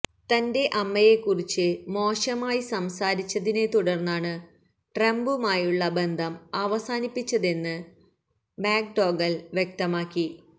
തന്റെ അമ്മയെക്കുറിച്ച് മോശമായി സംസാരിച്ചതിനെ തുടര്ന്നാണ് ട്രംപുമായുള്ള ബന്ധം അവസാനിപ്പിച്ചതെന്ന് മക്ഡോഗല് വ്യക്തമാക്കി